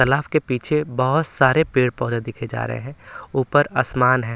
तालाब के पीछे बहोत सारे पेड़-पौधे देखे जा रहे हैं ऊपर आसमान है।